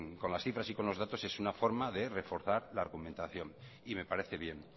con las cifras y datos es una forma de reforzar la argumentación y me parece bien